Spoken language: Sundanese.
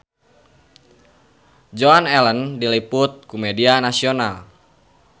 Joan Allen diliput ku media nasional